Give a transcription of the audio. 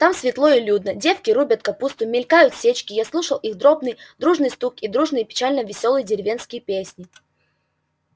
там светло и людно девки рубят капусту мелькают сечки я слушаю их дробный дружный стук и дружные печально-веселые деревенские песни